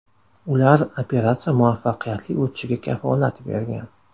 Ular operatsiya muvaffaqiyatli o‘tishiga kafolat bergan.